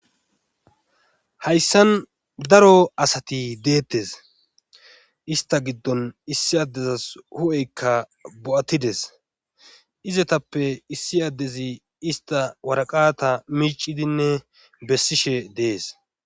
hayssan daro asati deettes ista giddon issi addezas hu7eykka bo7atides izetappe issi addezi ista waraqata miicidinne bessishe dees